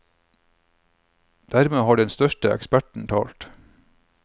Dermed har den største eksperten talt.